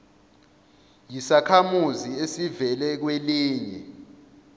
yisakhamuzi esivela kwelinye